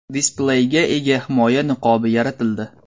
Displeyga ega himoya niqobi yaratildi.